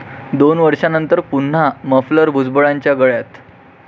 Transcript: दोन वर्षानंतर पुन्हा 'मफलर' भुजबळांच्या गळ्यात!